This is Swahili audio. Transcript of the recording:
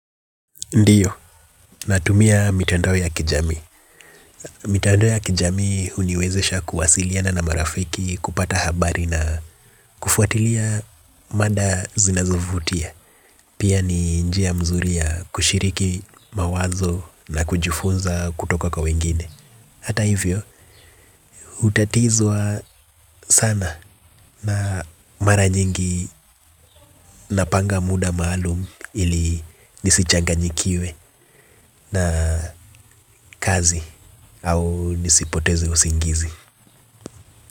Ndiyo, natumia mitandao ya kijamii. Mitandao ya kijamii huniwezesha kuwasiliana na marafiki kupata habari na kufuatilia mada zinazovutia. Pia ni njia mzuri ya kushiriki mawazo na kujifunza kutoka kwa wengine. Hata hivyo, hutatizwa sana na mara nyingi napanga muda maalum ili nisichanganyikiwe na kazi. Au nisipoteze usingizi.